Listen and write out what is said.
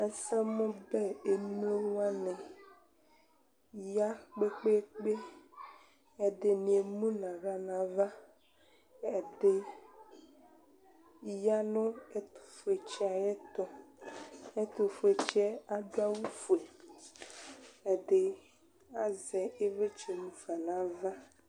ɛsɛmu bɛ emlo wʋani ya kpekpekpe, ɛdini emu nu aɣla nu ava, ɛdi ya nu ɛtu fue tsi yɛ ayɛtu, ɛtu fue tsi yɛ adu awu fue, ɛdi azɛ ivlitsɛ mu fa nu ava